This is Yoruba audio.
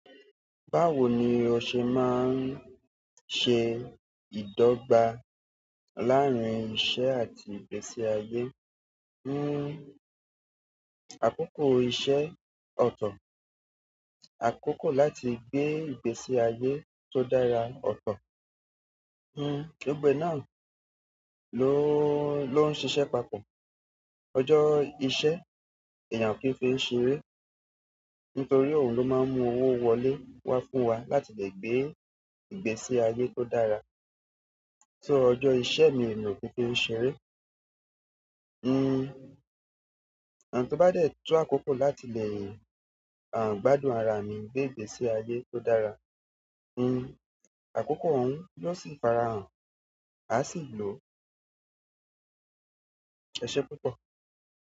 Báwo ni ọ ṣe máa ń ṣe ìdọ́gba láàárín iṣẹ́ àti ìgbésí ayé? Àkókò iṣẹ́ ọ̀tọ̀, àkókò láti gbé ìgbésí ayé tó dára ọ̀tọ̀. Gbogbo e náà ló ń, lo n ṣiṣẹ́ papọ̀. Ọjọ́ iṣẹ́ èèyàn kì í fi ṣeré, nítorí òun ló máa ń mú owó wọlé wá fún wa láti lè gbé ìgbésí ayé tó dára. So, ojo iṣẹ́ mi, emi o kin fi ṣeré to bá dẹ̀ to àkókò láti lẹ́, gbádùn ara mi ni ìgbésí ayé tó dára. Oko ohun yo si fara han, a si lo. E se púpọ̀.